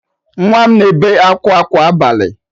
Nwa m na-ebe akwa kwa abalị